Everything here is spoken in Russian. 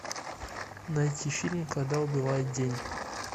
найти фильм когда убивает день